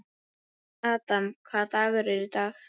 Adam, hvaða dagur er í dag?